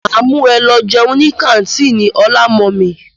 Máa mú e lọ jẹun ní kàńtìnì ọlá mummy.